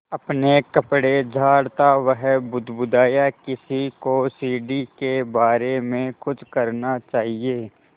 अपने कपड़े झाड़ता वह बुदबुदाया किसी को सीढ़ी के बारे में कुछ करना चाहिए